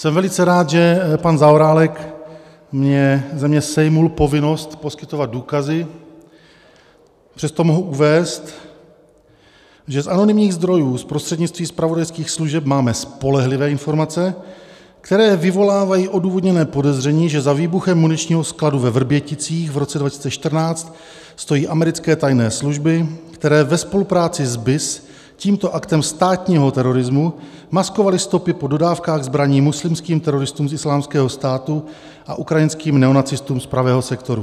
Jsem velice rád, že pan Zaorálek ze mě sejmul povinnost poskytovat důkazy, přesto mohu uvést, že z anonymních zdrojů z prostřednictví zpravodajských služeb máme spolehlivé informace, které vyvolávají odůvodněné podezření, že za výbuchem muničního skladu ve Vrběticích v roce 2014 stojí americké tajné služby, které ve spolupráci s BIS tímto aktem státního terorismu maskovaly stopy po dodávkách zbraní muslimským teroristům z Islámského státu a ukrajinským neonacistům z Pravého sektoru.